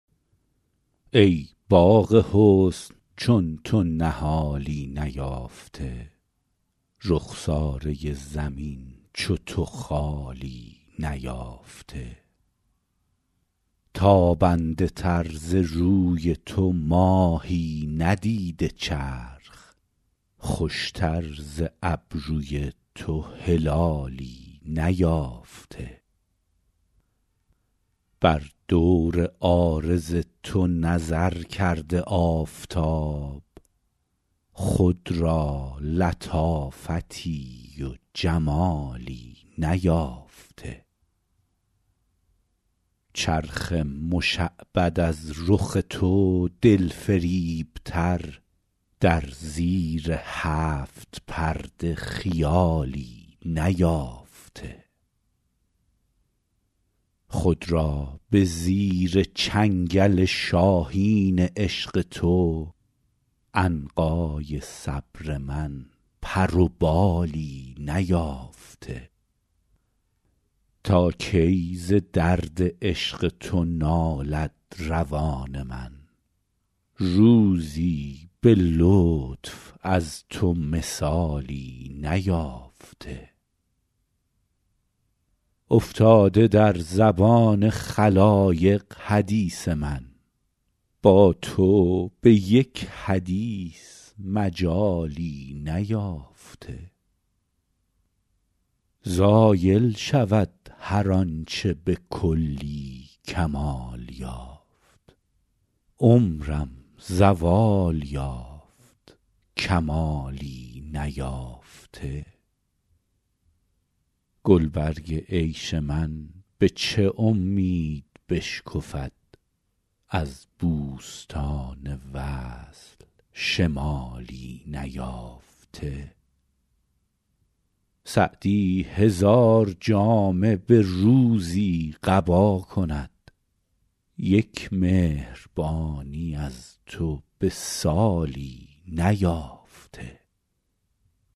ای باغ حسن چون تو نهالی نیافته رخساره زمین چو تو خالی نیافته تابنده تر ز روی تو ماهی ندیده چرخ خوشتر ز ابروی تو هلالی نیافته بر دور عارض تو نظر کرده آفتاب خود را لطافتی و جمالی نیافته چرخ مشعبد از رخ تو دلفریبتر در زیر هفت پرده خیالی نیافته خود را به زیر چنگل شاهین عشق تو عنقای صبر من پر و بالی نیافته تا کی ز درد عشق تو نالد روان من روزی به لطف از تو مثالی نیافته افتاده در زبان خلایق حدیث من با تو به یک حدیث مجالی نیافته زایل شود هر آن چه به کلی کمال یافت عمرم زوال یافت کمالی نیافته گلبرگ عیش من به چه امید بشکفد از بوستان وصل شمالی نیافته سعدی هزار جامه به روزی قبا کند یک مهربانی از تو به سالی نیافته